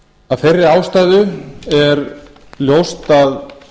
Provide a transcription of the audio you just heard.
af þeirri ástæðu er ljóst að